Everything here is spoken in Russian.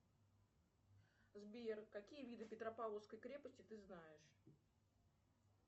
сбер какие виды петропавловской крепости ты знаешь